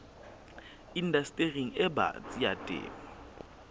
indastering e batsi ya temo